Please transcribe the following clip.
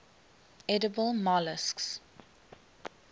edible molluscs